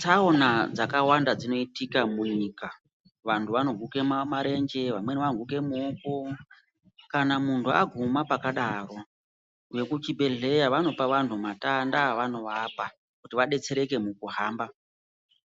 Tsaona dzakawanda dzinoitika munyika. Vantu vanoguke marenje, vamweni vanoguke maoko, kana muntu aguma pakadaro, vekuchibhedhlera vanopa vanhu matanda avanovapa kuti vadetsereke mukuhamba